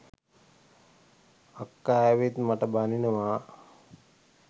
අක්කා ඇවිත් මට බනිනවා